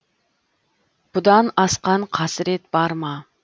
бұдан асқан қасірет бар ма